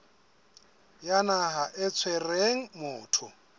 ya naha e tshwereng motho